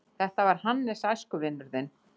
Þetta var Hannes, æskuvinur þinn.